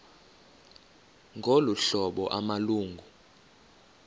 ngolu hlobo amalungu